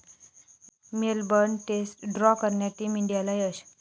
Melbourne test draw करण्यात team इंडियाला यश